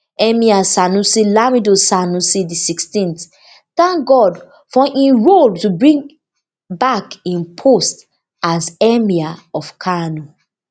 emir sanusi lamido sanusi di sixteenth thank god for im role to bring back im position as emir of kano